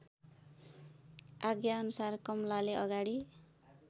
आज्ञाअनुसार कमलाले अगाडि